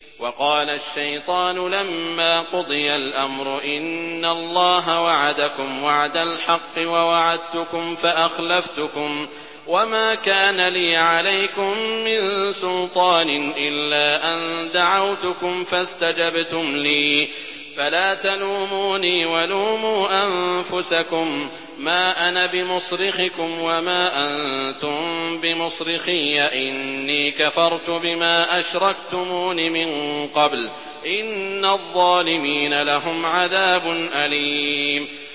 وَقَالَ الشَّيْطَانُ لَمَّا قُضِيَ الْأَمْرُ إِنَّ اللَّهَ وَعَدَكُمْ وَعْدَ الْحَقِّ وَوَعَدتُّكُمْ فَأَخْلَفْتُكُمْ ۖ وَمَا كَانَ لِيَ عَلَيْكُم مِّن سُلْطَانٍ إِلَّا أَن دَعَوْتُكُمْ فَاسْتَجَبْتُمْ لِي ۖ فَلَا تَلُومُونِي وَلُومُوا أَنفُسَكُم ۖ مَّا أَنَا بِمُصْرِخِكُمْ وَمَا أَنتُم بِمُصْرِخِيَّ ۖ إِنِّي كَفَرْتُ بِمَا أَشْرَكْتُمُونِ مِن قَبْلُ ۗ إِنَّ الظَّالِمِينَ لَهُمْ عَذَابٌ أَلِيمٌ